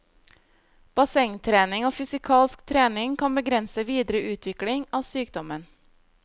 Bassengtrening og fysikalsk trening kan begrense videre utvikling av sykdommen.